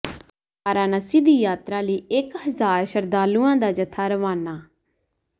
ਵਾਰਾਨਸੀ ਦੀ ਯਾਤਰਾ ਲਈ ਇਕ ਹਜਾਰ ਸ਼ਰਧਾਲੂਆਂ ਦਾ ਜੱਥਾ ਰਵਾਨਾ